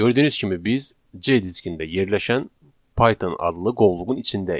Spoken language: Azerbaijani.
Gördüyünüz kimi biz C diskində yerləşən Python adlı qovluğun içindəyik.